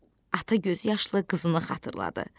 Ata gözyaşlı qızını xatırladı.